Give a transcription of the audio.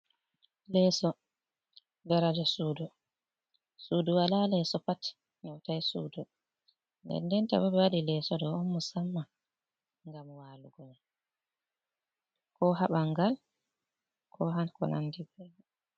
Leeso daraja sudu sudu wala leso pat heutai sudu ndendenta bo ɓe waɗi leeso do on musamma ngam walugo ko ha bangal ko ha ko nandi ɓebo.